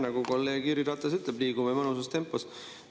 Nagu kolleeg Jüri Ratas ütleb, liigume mõnusas tempos.